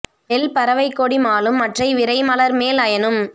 well பறவைக் கொடி மாலும் மற்றை விரை மலர் மேல் அயனும்